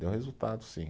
Deu resultado, sim.